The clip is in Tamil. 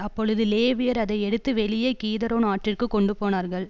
அப்பொழுது லேவியர் அதை எடுத்து வெளியே கீதரோ நாற்றிற்குக் கொண்டு போனார்கள்